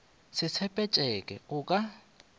se tshepe tšeke o ka